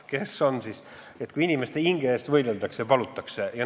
Kes on seda, kui inimeste hinge eest võideldakse ja palutakse?